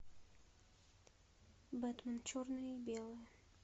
бэтмен черное и белое